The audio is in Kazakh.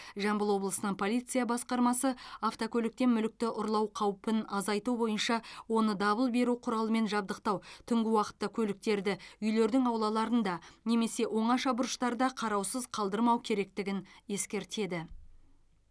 жамбыл облысының полиция басқармасы автокөліктен мүлікті ұрлау қаупін азайту бойынша оны дабыл беру құралымен жабдықтау түнгі уақытта көліктерді үйлердің аулаларында немесе оңаша бұрыштарда қараусыз қалдырмау керектігін ескертеді